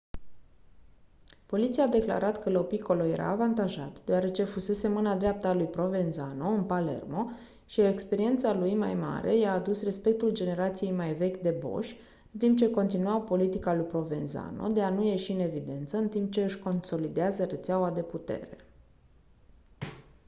poliția a declarat că lo piccolo era avantajat deoarece fusese mâna dreaptă a lui provenzano în palermo și experiența lui mai mare i-a adus respectul generației mai vechi de boși în timp ce continuau politica lui provenzano de a nu ieși în evidență în timp ce își consolidează rețeaua de putere